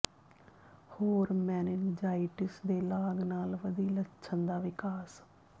ਹੋਰ ਮੈਨਿਨਜਾਈਟਿਸ ਦੀ ਲਾਗ ਦੇ ਨਾਲ ਵਧੀ ਲੱਛਣ ਦਾ ਵਿਕਾਸ